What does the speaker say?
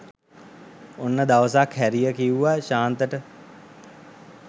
ඔන්න දවසක් හැරිය කිව්ව ශාන්තට